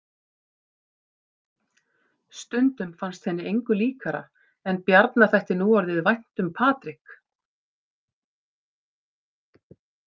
Stundum fannst henni engu líkara en Bjarna þætti núorðið vænt um Patrik.